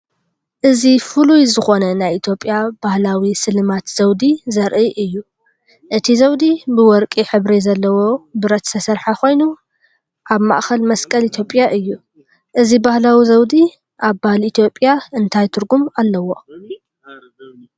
እዚ ፍሉይ ዝኾነ ናይ ኢትዮጵያ ባህላዊ ስልማት ዘውዲ ዘርኢ እዩ። እቲ ዘውዲ ብወርቂ ሕብሪ ዘለዎ ብረት ዝተሰርሐ ኮይኑ፡ ኣብ ማእከል መስቀል ኢትዮጵያ እዩ። እዚ ባህላዊ ዘውዲ ኣብ ባህሊ ኢትዮጵያ እንታይ ትርጉም ኣለዎ?